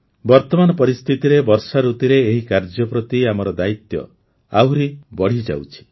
ବର୍ତମାନ ପରିସ୍ଥିତିରେ ବର୍ଷାଋତୁରେ ଏହି କାର୍ଯ୍ୟ ପ୍ରତି ଆମର ଦାୟିତ୍ୱ ଆହୁରି ବଢ଼ିଯାଉଛି